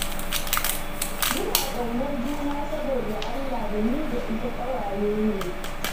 Muna ƙaunar juna saboda Allah da ni da ita ƙawaye ne